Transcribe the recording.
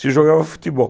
Se jogava futebol.